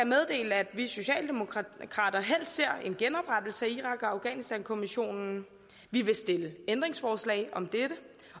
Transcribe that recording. meddele at vi socialdemokrater helst ser en genoprettelse af irak og afghanistankommissionen vi vil stille ændringsforslag om dette